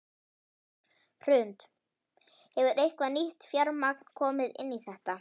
Hrund: Hefur eitthvað nýtt fjármagn komið inn í þetta?